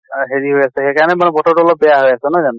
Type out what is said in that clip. হেৰি হৈ আছে, হেই কাৰণে বতৰ টো অলপ বেয়া হৈ আছে নহয় জানো?